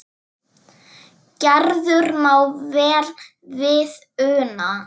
Gerður má vel við una.